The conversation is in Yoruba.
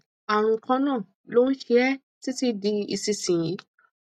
àrùn kan náà ló ń ṣe é títí di ìsinsìnyí